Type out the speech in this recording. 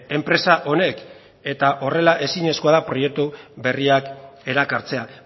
enpresa honek eta horrela ezinezkoa da proiektu berriak erakartzea